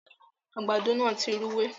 àgbàdo yén tí Rúwé.